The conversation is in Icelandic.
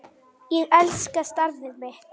Ég elska starfið mitt.